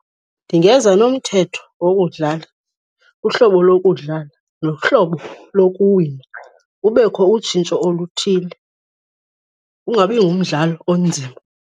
Ndingeza nomthetho wokudlala, uhlobo lokudlala nohlobo lokuwina. Kubekho utshintsho oluthile, ungabi ngumdlalo onzima.